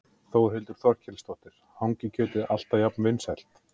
Þórhildur Þorkelsdóttir: Er hangikjötið alltaf jafn vinsælt?